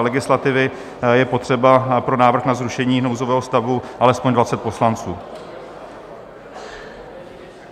legislativy je potřeba pro nárok na zrušení nouzového stavu alespoň 20 poslanců.